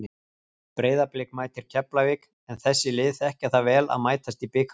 Breiðablik mætir Keflavík en þessi lið þekkja það vel að mætast í bikarnum.